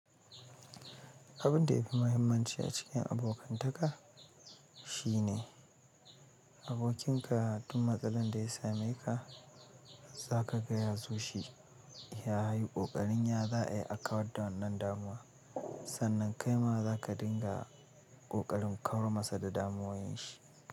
Abun da ya fi mahimmanci a cikin abokantaka shine abokinka duk matsalar da ya same ka, za ka gaya so shi ya yi ƙoƙarin ya za ayi a kawar da wannan damuwa, sannan kai ma za ka dinga ƙoƙarin kaura masa da damuwun shi.